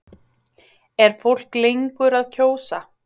Er fólk lengur að kjósa?